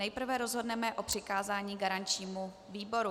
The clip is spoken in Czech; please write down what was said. Nejprve rozhodneme o přikázání garančnímu výboru.